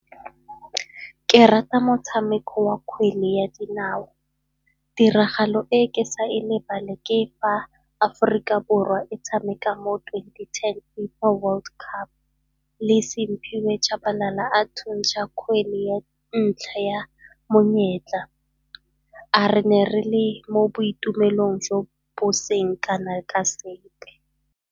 Ke rata motshameko wa kgwele ya dinao. Tiragalo e ke sa e lebale ke fa Aforika Borwa e tshameka mo twenty-ten FIFA World Cup, le Simphiwe Tshabalala a thuntsha kgwele ya ntlha ya monyetla. A re ne re le mo boitumelong jo bo seng kana ka sepe.